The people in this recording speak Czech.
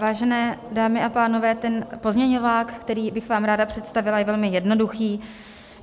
Vážené dámy a pánové, ten pozměňovák, který bych vám ráda představila, je velmi jednoduchý.